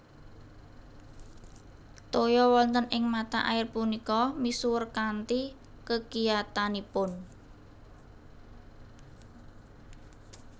Toya wonten ing mata air punika misuwur kanthi kekiyatanipun